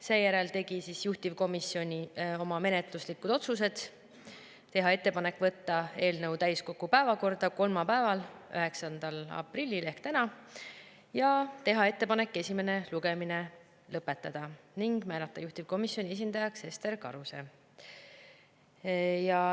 Seejärel tegi juhtivkomisjon oma menetluslikud otsused: teha ettepanek võtta eelnõu täiskogu päevakorda kolmapäeval, 9. aprillil ehk täna ja teha ettepanek esimene lugemine lõpetada ning määrata juhtivkomisjoni esindajaks Ester Karuse.